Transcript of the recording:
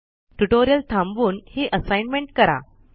tutorial थांबवून हि assignment करा